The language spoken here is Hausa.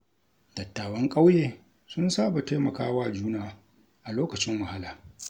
Dattawan ƙauye sun saba taimaka wa juna a lokacin wahala.